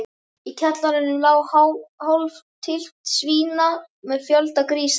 Í kjallaranum lá hálf tylft svína með fjölda grísa.